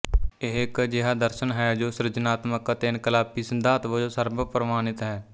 ਇਹ ਇੱਕ ਅਜਿਹਾ ਦਰਸ਼ਨ ਹੈ ਜੋ ਸਿਰਜਣਾਤਮਕ ਅਤੇ ਇਨਕਲਾਬੀ ਸਿਧਾਂਤ ਵਜੋਂ ਸਰਵ ਪ੍ਰਵਾਨਿਤ ਹੈਂ